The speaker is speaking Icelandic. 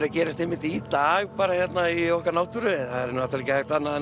að gerast einmitt í dag bara hérna í okkar náttúru það er ekki hægt annað en